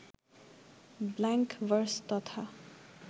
blank verse তথা